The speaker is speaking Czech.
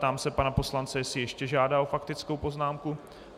Ptám se pana poslance, jestli ještě žádá o faktickou poznámku.